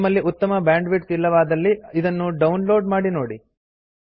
ನಿಮ್ಮಲ್ಲಿ ಉತ್ತಮ ಬ್ಯಾಂಡ್ವಿಡ್ತ್ ಇಲ್ಲವಾದಲ್ಲಿ ಇದನ್ನು ಡೌನ್ ಲೋಡ್ ಮಾಡಿ ನೋಡಿ